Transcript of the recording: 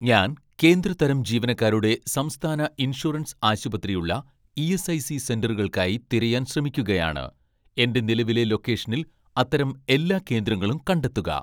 ഞാൻ കേന്ദ്ര തരം ജീവനക്കാരുടെ സംസ്ഥാന ഇൻഷുറൻസ് ആശുപത്രി ഉള്ള ഇ.എസ്.ഐ.സി സെന്ററുകൾക്കായി തിരയാൻ ശ്രമിക്കുകയാണ്, എന്റെ നിലവിലെ ലൊക്കേഷനിൽ അത്തരം എല്ലാ കേന്ദ്രങ്ങളും കണ്ടെത്തുക